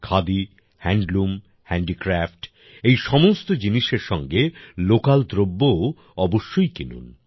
khadi handloom handicraft এই সমস্ত জিনিসের সঙ্গে লোকাল দ্রব্যও অবশ্যই কিনুন